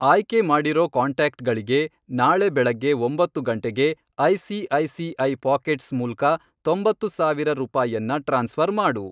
ಆಯ್ಕೆ ಮಾಡಿರೋ ಕಾಂಟ್ಯಾಕ್ಟ್ಗಳಿಗೆ ನಾಳೆ ಬೆಳಗ್ಗೆ ಒಂಬತ್ತು ಗಂಟೆಗೆ ಐ.ಸಿ.ಐ.ಸಿ.ಐ. ಪಾಕೆಟ್ಸ್ ಮೂಲ್ಕ ತೊಂಬತ್ತು ಸಾವಿರ ರೂಪಾಯನ್ನ ಟ್ರಾನ್ಸ್ಫ಼ರ್ ಮಾಡು.